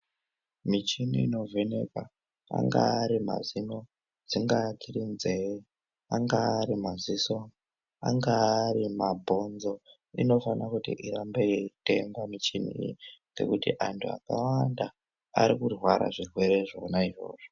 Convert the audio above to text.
Michini inovheneka angaa ari mazino, dzingaa dziri nzee, angaa ari maziso, angaa ari mabhonzo inofana kuti irambe yeitengwa michini iyi ngekuti antu akawanda ari kurware zvirwere zvona izvozvo.